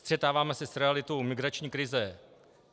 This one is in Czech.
Střetáváme se s realitou migrační krize.